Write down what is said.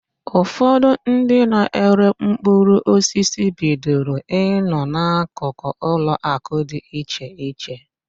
Ụfọdụ ndị na-ere mkpụrụosisi bidoro ị nọ n'akụkụ ụlọakụ dị iche iche.